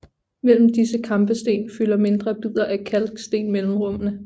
Mellem disse kampesten fylder mindre bidder af kalksten mellemrummene